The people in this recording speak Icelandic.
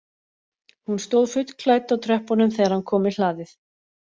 Hún stóð fullklædd á tröppunum þegar hann kom í hlaðið